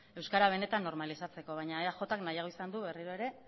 euskara benetan normalizatzeko baina eajk nahiago izan du berriro ere